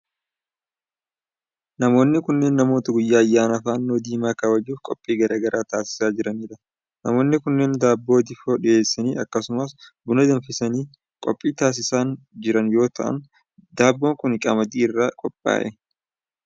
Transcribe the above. Namoonni kunneen, namoota guyyaa ayyaana fannoo diimaa kabajuuf qophii garaa garaa taasisaa jiranii dha. Namoonni kunneen daabboo difoo dhiheessanii akkasumas buna danfisanii qophii taasisaa jiran yoo ta'an, daabboon kun qamadii irraa qophaa'e.